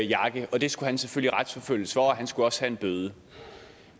jakke og det skulle han selvfølgelig retsforfølges for og han skulle også have en bøde